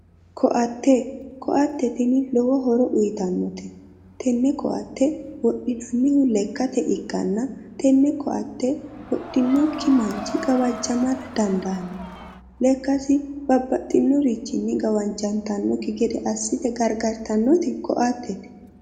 Koatte, koatte tini lowo horo uyittannote, tene koatte wodhinannihu lekkate ikkanna tene koatte wodhinokki manchi gawajamara dandaano, lekkasi babbaxinorichi gawajattanokki gede assite gargarittanoti koattete.